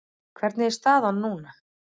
Hvernig er staðan núna?